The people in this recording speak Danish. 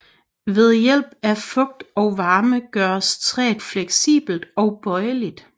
Ved hjælp af fugt og varme gøres træet fleksibelt og bøjeligt